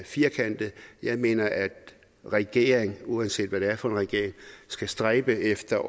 firkantet jeg mener at regeringen uanset hvad det er for en regering skal stræbe efter